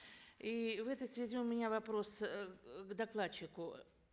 и в этой связи у меня вопрос эээ к докладчику